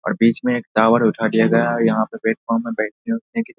और बीच में एक टॉवर उठा लिया गया है यहाँ पे प्‍लेटफॉर्म में बैठने उठने की --